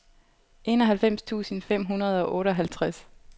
enoghalvfems tusind fem hundrede og otteoghalvtreds